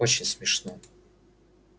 очень смешно